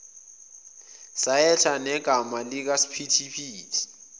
sayetha negama likasiphithiphithi